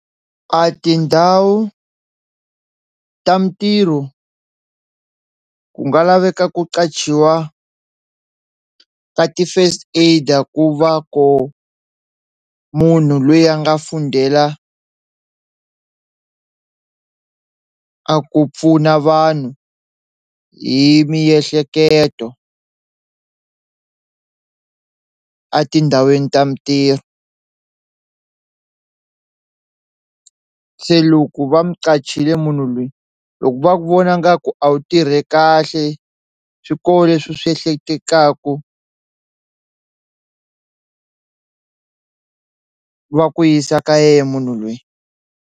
A tindhawu ta mitirho ku nga laveka ku qachiwa ka ti-first aider ku va ku munhu loyi a nga fundela a ku pfuna vanhu hi miehleketo a tindhawini ta mintirho se loko va mu qachile munhu loyi loko va vona ngaku a wu tirhi kahle swi koho leswi u swi ehleketaku va ku yisa ka yena munhu loyi.